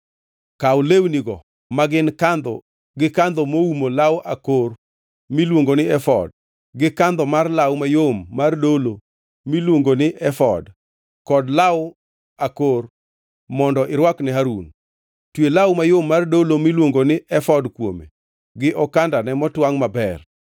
Kaw lewnigo magin kandho gi kandho moumo law akor miluongo ni efod, gi kandho mar law mayom mar dolo miluongo ni efod kod law akor mondo irwakne Harun. Twe law mayom mar dolo miluongo ni efod kuome gi okandane motwangʼ maber.